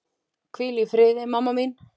Hvíl í friði, mamma mín.